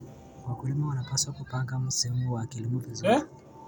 Wakulima wanapaswa kupanga msimu wa kilimo vizuri.